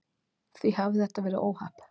Því hafi þetta verið óhapp